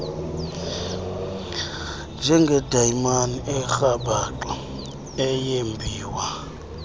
njengedayimani erhabaxa eyembiwa